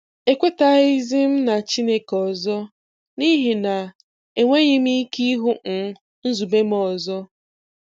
Ekwetazighị m na Chineke ọzọ, n'ihi na e nweghị m ike ịhụ um nzube m ọzọ.